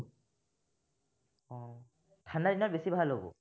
ঠাণ্ডা দিনত বেছি ভাল হব।